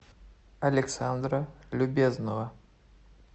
александра любезнова